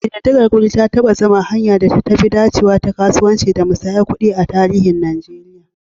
Ƙididdigar wuri ta taɓa zama hanyar da ta fi dacewa ta kasuwanci da musayar kuɗi a tarihin Najeriya.